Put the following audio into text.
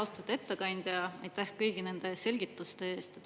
Austatud ettekandja, aitäh kõigi nende selgituste eest!